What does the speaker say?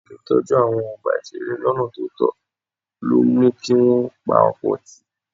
Àìletọ́jú àwọn ọgbà ìṣeré lọ́nà tó tọ́ ló mú kí wọ́n pa ọ̀pọ̀ tì.